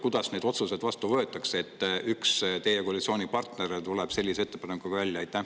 Kuidas neid otsuseid vastu võetakse, kui üks teie koalitsioonipartner tuleb sellise ettepanekuga välja?